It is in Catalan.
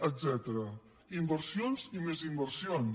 etcètera inversions i més inversions